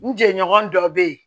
N jɛɲɔgɔn dɔ be ye